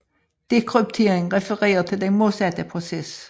Dekryptering refererer til den modsatte proces